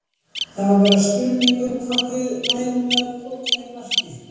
Það var bara spurning hvort við næðum að pota inn marki.